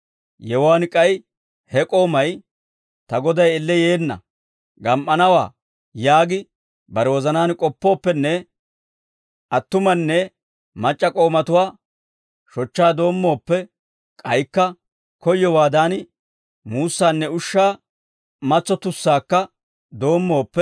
Yewuwaan k'ay he k'oomay, «Ta goday elle yeenna; gam"anawaa» yaagi bare wozanaan k'oppooppenne attumanne mac'c'a k'oomatuwaa shochchaa doommooppe, k'aykka koyyowaadan muussaanne ushshaa, matsottussaakka doommooppe,